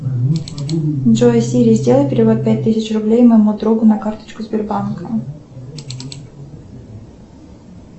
джой сири сделай перевод пять тысяч рублей моему другу на карточку сбербанка